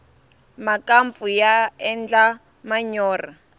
makampfu ya endla manyorha